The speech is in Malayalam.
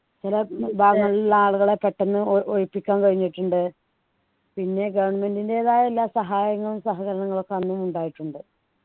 ചില ഭാഗങ്ങളുള്ള ആളുകളെ പെട്ടന്ന് ഒ ഒഴിപ്പിക്കാൻ കഴിഞ്ഞിട്ടുണ്ട് പിന്നെ government ൻ്റെതായ എല്ലാ സഹായങ്ങളും സഹകരണങ്ങളും ഒക്കെ അന്നും ഉണ്ടായിട്ടുണ്ട്